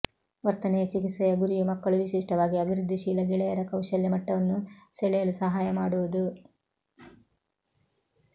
ವರ್ತನೆಯ ಚಿಕಿತ್ಸೆಯ ಗುರಿಯು ಮಕ್ಕಳು ವಿಶಿಷ್ಟವಾಗಿ ಅಭಿವೃದ್ಧಿಶೀಲ ಗೆಳೆಯರ ಕೌಶಲ್ಯ ಮಟ್ಟವನ್ನು ಸೆಳೆಯಲು ಸಹಾಯ ಮಾಡುವುದು